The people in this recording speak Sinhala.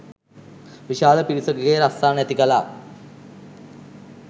විශාල පිරිසකගේ රස්සා නැති කළා.